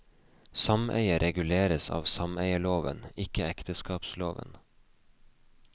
Sameie reguleres av sameieloven, ikke ekteskapsloven.